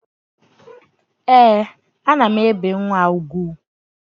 Ee, ana m ebe nwa ugwu